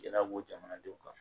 Gɛlɛya b'o jamanadenw kan